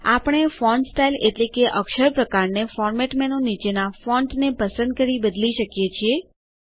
આપણે font style એટલેકે અક્ષર પ્રકારને ફોર્મેટ મેનું નીચેના Fontsને પસંદ કરી બદલી શકીએ છીએ